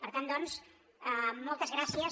per tant doncs moltes gràcies